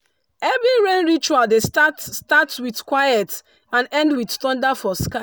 every rain ritual dey start start with quiet and end with thunder for sky.